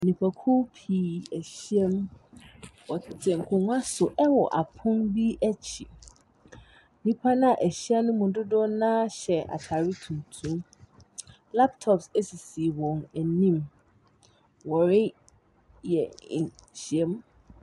Nnipakuw pii ahyiam. Wɔtete nkonnwa so wɔ apon bo akyi. Nnipa no a wɔahyia no mu dodoɔ no ara hyɛ atade tuntum. Laptops sisi wɔn anim. Wɔreyɛ nhyiam.